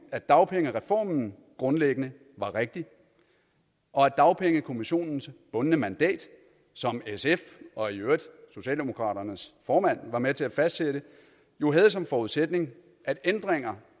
at dagpengereformen grundlæggende var rigtig og at dagpengekommissionens bundne mandat som sf og i øvrigt socialdemokraternes formand var med til at fastsætte jo havde som forudsætning at ændringer